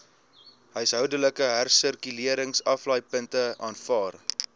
huishoudelike hersirkuleringsaflaaipunte aanvaar